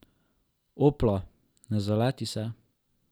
Opla, ne zaleti se.